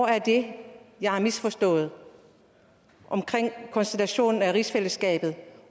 er det jeg har misforstået omkring konstitutionen af rigsfællesskabet